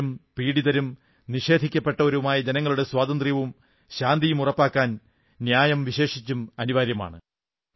ചൂഷിതരും പീഡിതരും നിഷേധിക്കപ്പെട്ടവരുമായ ജനങ്ങളുടെ സ്വാതന്ത്ര്യവും ശാന്തിയും ഉറപ്പാക്കാൻ ന്യായം വിശേഷിച്ചും അനിവാര്യമാണ്